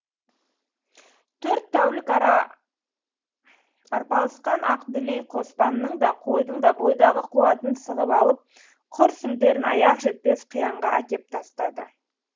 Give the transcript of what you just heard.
төрт тәулік арпалысқан ақ дүлей қоспанның да қойдың да бойдағы қуатын сығып алып құр сүлдерін аяқ жетпес қиянға әкеп тастады